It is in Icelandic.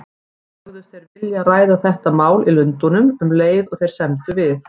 Sögðust þeir vilja ræða þetta mál í Lundúnum, um leið og þeir semdu við